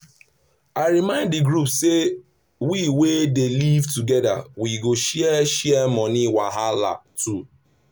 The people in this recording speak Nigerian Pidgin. i remind di group say wey we dey live together we go share share money wahala too.